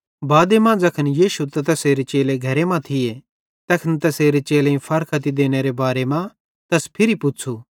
बादे मां ज़ैखन यीशु ते तैसेरे चेले घरे मां थिये तैखन तैसेरे चेलेईं फारख्ती देनेरे बारे मां तैस फिरी पुच़्छ़ू